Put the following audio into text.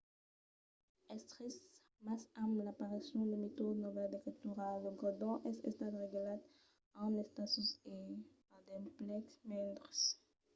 es trist mas amb l'aparicion de metòdes novèls d'escritura lo gredon es estat relegat a un estatus e a d'emplecs mendres